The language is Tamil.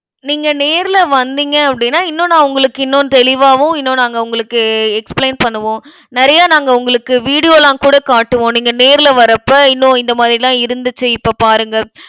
நீங்க நேர்ல வந்தீங்க அப்படின்னா, இன்னும் நான் உங்களுக்கு இன்னும் தெளிவாவும், இன்னும் நாங்க உங்களுக்கு explain பண்ணுவோம். நிறைய நாங்க உங்களுக்கு video லாம் கூட காட்டுவோம். நீங்க நேர்ல வரப்ப, இன்னும் இந்த மாதிரி எல்லாம் இருந்துச்சு, இப்ப பாருங்க